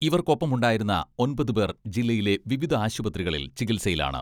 ഇവർക്കൊപ്പമുണ്ടായിരുന്ന ഒമ്പത് പേർ ജില്ലയിലെ വിവിധ ആശുപത്രികളിൽ ചികിത്സയിലാണ്.